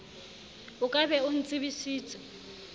o ka be o ntsebisitse